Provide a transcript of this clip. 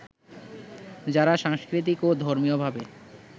যারা সাংস্কৃতিক ও ধর্মীয়ভাবে